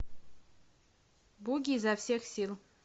буги изо всех сил